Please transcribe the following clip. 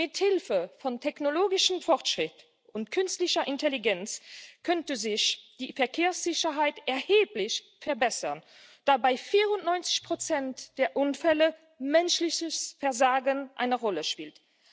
Mithilfe von technologischem Fortschritt und künstlicher Intelligenz könnte sich die Verkehrssicherheit erheblich verbessern, da bei 94 der Unfälle menschliches Versagen eine Rolle spielt.